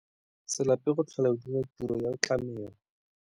Se lape go tlhola o dira tiro ya tlamelo.